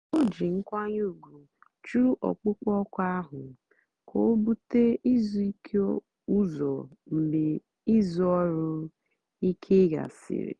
ó jí nkwányè ùgwù jụ́ ọ̀kpụ́kpọ́ òkù áhụ̀ kà ó búté ízú íké ụ́zọ̀ mgbe ízú ọ́rụ̀-íké gàsị̀rị́.